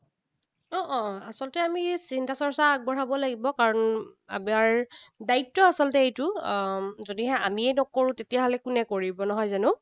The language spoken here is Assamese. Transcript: অ, অ, আচলতে আমি চিন্তা চৰ্চা আগবঢ়াব লাগিব। কাৰণ আমাৰ দায়িত্ব আচলতে এইটো, আহ যদিহে আমিয়েই নকৰোঁ, তেতিয়াহলে কোনে কৰিব, নহয় জানো?